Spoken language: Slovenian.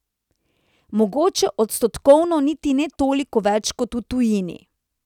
Mogoče odstotkovno niti ne toliko več kot v tujini.